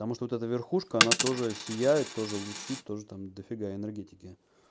потому что эта верхушка она тоже сияет тоже лучи тоже там дофига энергетики